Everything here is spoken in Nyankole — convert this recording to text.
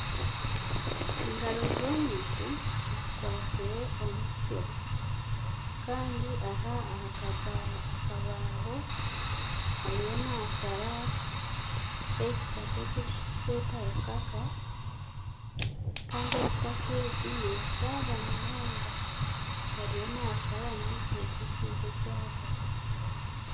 Engaro z'omuntu zikwatsire omutsyo kandi aha ahakabaaho ariyo nashara ekishaka ekiturikweta rukaka Kandi rukaka egi neshariira munonga ariyo nasharamu ekyo ekintu eky'ahagati.